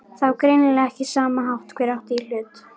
Það var greinilega ekki sama hver átti í hlut.